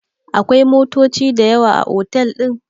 akwai motoci da yawa a otal din?